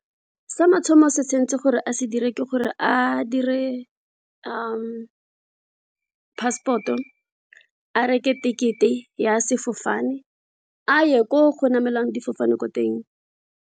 Sa mathomo se tshentse gore a se dire ke gore a dire passport, a reke ticket-e ya sefofane, a ye ko go namelwang difofane ko teng.